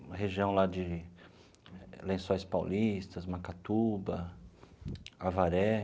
Uma região lá de Lençóis Paulistas, Macatuba, Avaré.